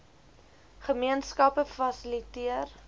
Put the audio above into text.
gemeen skappe fasiliteer